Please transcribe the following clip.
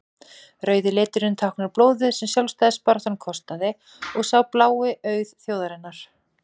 rauði liturinn táknar blóðið sem sjálfstæðisbaráttan kostaði og sá blái auð þjóðarinnar